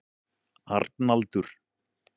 Arnaldur